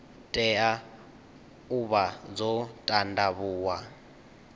tea u vha dzo ṱanḓavhuwa